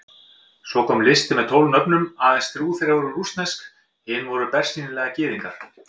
Svo kom listi með tólf nöfnum, aðeins þrjú þeirra voru rússnesk, hinir voru bersýnilega Gyðingar.